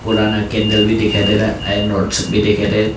पुराना कैंडल भी दिखाई दे रहा है आयरन रोड्स सब भी दिखाई दे--